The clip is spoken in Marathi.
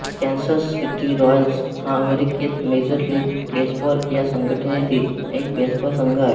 कॅन्सस सिटी रॉयल्स हा अमेरिकेत मेजर लीग बेसबॉल या संघटनेतील एक बेसबॉल संघ आहे